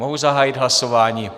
Mohu zahájit hlasování?